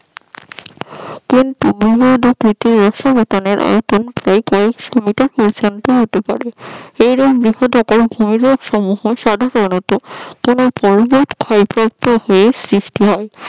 সমতলের আয়তন এরূপ হিমবাহ সাধারণত হিমবাহের ক্ষয়প্রাপ্ত হয়ে সৃষ্টি হয়